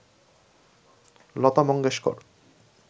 Lata Mangeshkar